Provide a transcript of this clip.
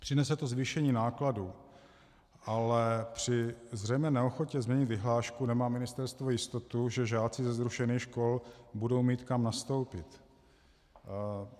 Přinese to zvýšení nákladů, ale při zřejmé neochotě změnit vyhlášku nemá ministerstvo jistotu, že žáci ze zrušených škol budou mít kam nastoupit.